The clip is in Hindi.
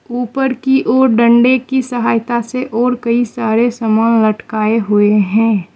ऊपर की और डंडे की सहायता से और कई सारे सामान लटकाए हुएं हैं।